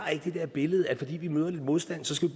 det der billede af at fordi vi møder lidt modstand skal